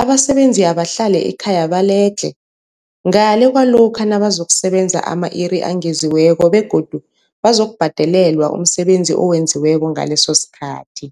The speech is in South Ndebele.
abasebenzi abahlale ekhaya baledlhe, ngale kwalokho nabazokusebenza ama-iri angeziweko begodu bazokubhadelelwa umsebenzi owenziweko ngalesosikhathi.